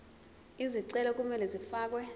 izicelo kumele zifakelwe